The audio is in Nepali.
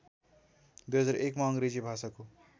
२००१ मा अङ्ग्रेजी भाषाको